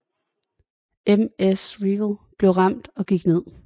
MS Riegel blev ramt og gik ned